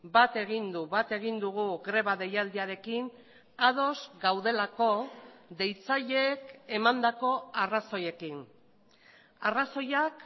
bat egin du bat egin dugu greba deialdiarekin ados gaudelako deitzaileek emandako arrazoiekin arrazoiak